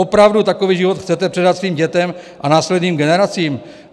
Opravdu takový život chcete předat svým dětem a následným generacím?